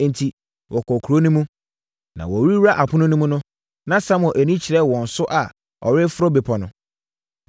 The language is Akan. Enti, wɔkɔɔ kuro no mu. Na wɔrewura apono no mu no, na Samuel ani kyerɛ wɔn so a ɔrekɔforo bepɔ no.